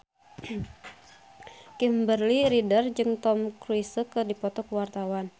Kimberly Ryder jeung Tom Cruise keur dipoto ku wartawan